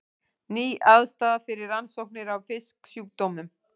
Ný aðstaða fyrir rannsóknir á fisksjúkdómum